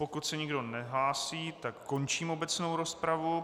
Pokud se nikdo nehlásí, tak končím obecnou rozpravu.